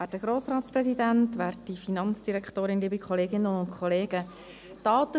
Daten sind eigentlich der Wertstoff des 21. Jahrhunderts.